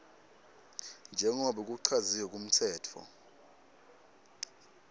njengobe kuchaziwe kumtsetfo